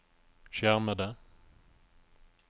skjermede